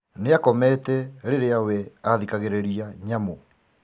nĩakomete Rĩria we athikagĩrĩria nyamũ .